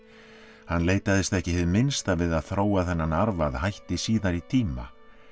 hann leitaðist ekki hið minnsta við að þróa þennan arf að hætti síðari tíma